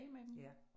Ja